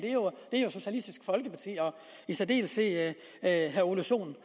er socialistisk folkeparti og i særdeleshed herre ole sohn